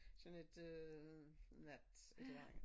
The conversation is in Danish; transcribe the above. Sådan et øh nat et eller andet